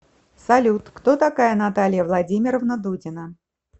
салют кто такая наталья владимировна дудина